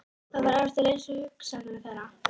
Hvað gerir vöðva, bein og sinar að manni?